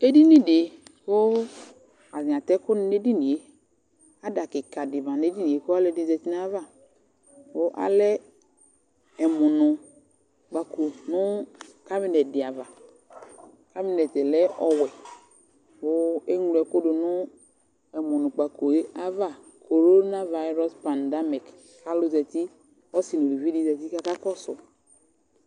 Edini dɩ kʋ atanɩ atɛ ɛkʋnɩ nʋ edini yɛ Ada kɩka dɩ ma nʋ edini yɛ kʋ ɔlɔdɩ zati nʋ ayava Kʋ alɛ ɛmʋnʋkpako nʋ kabɩnɛt dɩ ava Kabɩnɛt yɛ lɛ ɔwɛ kʋ eŋlo ɛkʋ dʋ nʋ ɛmɔnʋkpako yɛ ava korona vayɩrɔs paŋdamik kʋ alʋ zati, ɔsɩ nʋ uluvi dɩ zati kʋ akakɔsʋ